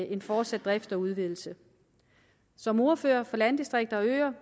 en fortsat drift og udvidelse som ordfører for landdistrikter og øer